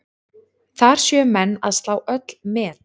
Þar séu menn að slá öll met.